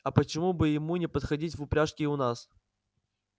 а почему бы ему не походить в упряжке и у нас